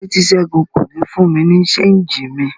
Kílode ti Sẹgun ko ní fún mi ni ṣéngì mi?